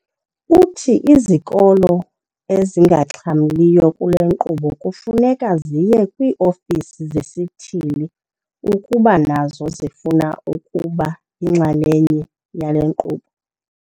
Uthi izikolo ezingaxhamliyo kule nkqubo kufuneka ziye kwii-ofisi zesithili ukuba nazo zifuna ukuba yinxalenye yale nkqubo.